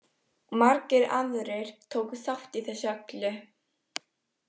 Margir aðrir tóku þátt í þessu öllu.